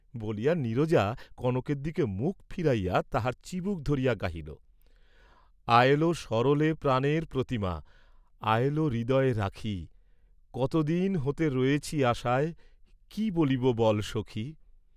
বলিয়া নীরজা কনকের দিকে মুখ ফিরাইয়া তাহার চিবুক ধরিয়া গাহিল, "আয়লো, সরলে, প্রাণের প্রতিমা, আয়লো, হৃদয়ে রাখি, কতদিন হতে রয়েছি আশায়, কি বলিব বল সখি?"